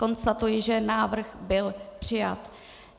Konstatuji, že návrh byl přijat.